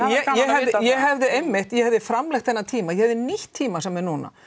ég hefði einmitt ég hefði framlengt þennan tíma ég hefði nýtt tímann sem er núna